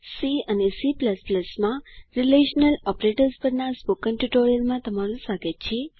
C અને C માં relational operators પરના સ્પોકન ટ્યુટોરીયલમાં તમારું સ્વાગત છે